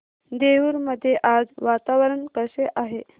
देऊर मध्ये आज वातावरण कसे आहे